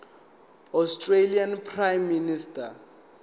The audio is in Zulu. australian prime minister